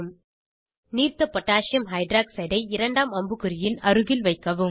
நீர்த்த potassium hydroxide aqகோஹ் ஐ இரண்டாம் அம்புக்குறியின் அருகில் வைக்கவும்